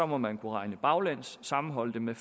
må man kunne regne baglæns og sammenholde det med